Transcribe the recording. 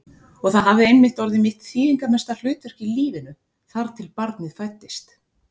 Og það hafði einmitt orðið mitt þýðingarmesta hlutverk í lífinu, þar til barnið fæddist.